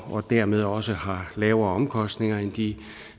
og dermed også har lavere omkostninger end de